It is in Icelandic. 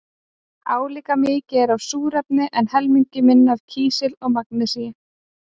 Álíka mikið er af súrefni en helmingi minna er af kísli og magnesíni.